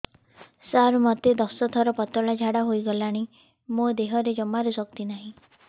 ସାର ମୋତେ ଦଶ ଥର ପତଳା ଝାଡା ହେଇଗଲାଣି ମୋ ଦେହରେ ଜମାରୁ ଶକ୍ତି ନାହିଁ